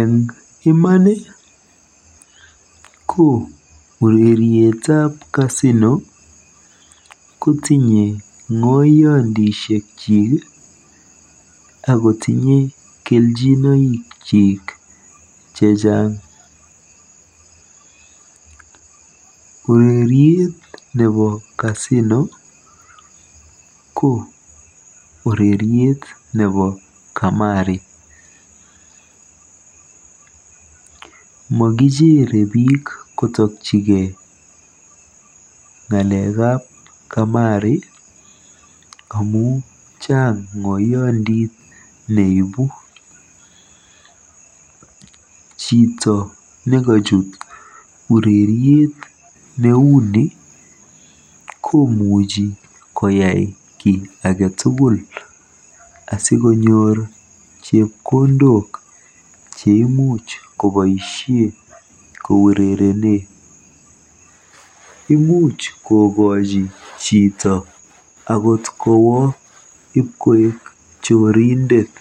Eng iman ko urerietab Casino kotinye ng'oyiandisiekchi akotinye keljinoikyik chechang. Ureriet nebo Casino ko ureriet nebo Kamari. Mokijere biik kotokjigei ng'alekab kamari amu chang ng'oyandit neibu. Chito nekochut boisiet ake tugul koimuch koyai kiy age tugul sikonyor chepkondok cheimuch koboisie kourerene. Imuuch kokochi chito akot koek chorindet.